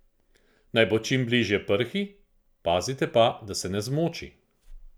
Naj bo čim bližje prhi, pazite pa, da se ne zmoči.